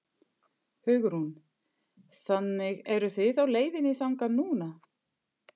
Hugrún: Þannig eruð þið á leiðinni þangað núna?